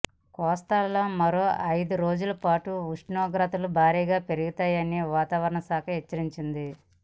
కోస్తాలో మరో ఐదు రోజుల పాటు ఉష్ణోగ్రతలు భారీగా పెరుగుతాయని వాతావరణ శాఖ హెచ్చరించింది